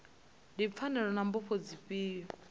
ndi pfanelo na mbofho dzifhio